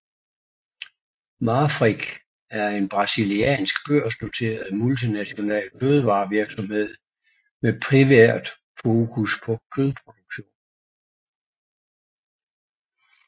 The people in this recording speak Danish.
Marfrig er en brasiliansk børsnoteret multinational fødevarevirksomhed med primært fokus på kødproduktion